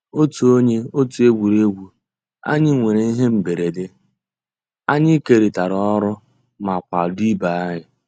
Ótú ónyé ótú égwurégwu ànyị́ nwèrè íhé mbérèdé, ànyị́ kérị́tárá ọ́rụ́ má kwàdó ìbé ànyị́.